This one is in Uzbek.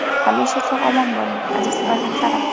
Hamisha sog‘-omon bo‘ling, aziz farzandlarim!